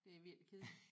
Det er virkelig kedeligt